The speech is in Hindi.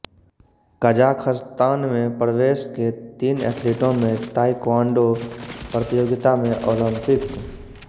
कजाखस्तान में प्रवेश के तीन एथलीटों में ताइक्वांडो प्रतियोगिता में ओलंपिक